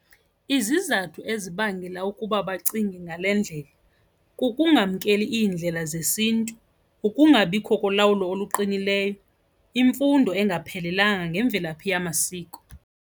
Izizathu ezibangela ukuba bacinge ngale ndlela kukungamkeleki iindlela zesiNtu, ukungabikho kolawulo oluqinileyo, imfundo engaphelelanga ngemvelaphi yamasiko.